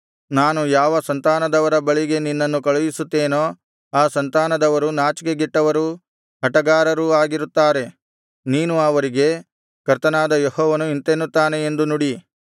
ನಾನು ಯಾವ ಸಂತಾನದವರ ಬಳಿಗೆ ನಿನ್ನನ್ನು ಕಳುಹಿಸುತ್ತೇನೋ ಆ ಸಂತಾನದವರು ನಾಚಿಕೆಗೆಟ್ಟವರೂ ಹಟಗಾರರೂ ಆಗಿರುತ್ತಾರೆ ನೀನು ಅವರಿಗೆ ಕರ್ತನಾದ ಯೆಹೋವನು ಇಂತೆನ್ನುತ್ತಾನೆ ಎಂದು ನುಡಿ